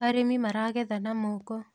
arĩmi maragetha na moko